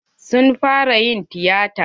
Sun fara yin tiyata.